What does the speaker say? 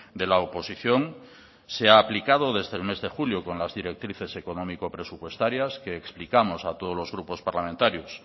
de la oposición se ha aplicado desde el mes de julio con las directrices económico presupuestarias que explicamos a todos los grupos parlamentarios